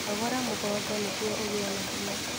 Nogora mũgongo nĩguo ũgie na hinya